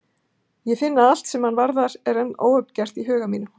Ég finn að allt sem hann varðar er enn óuppgert í huga mínum.